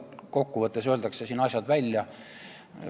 Kokkuvõttes öeldakse siin asjad välja.